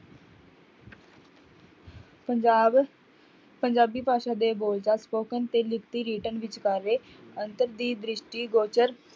ਪੰਜਾਬ ਪੰਜਾਬੀ ਭਾਸ਼ਾ ਦੇ ਬੋਲ ਦਾ spoken ਤੇ ਲਿਖਤੀ written ਅੰਤਰ ਦੀ ਦ੍ਰਿਸ਼ਟੀ